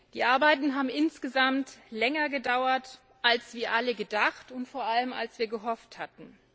Die Arbeiten haben insgesamt länger gedauert, als wir alle gedacht, und vor allem, als wir gehofft hatten.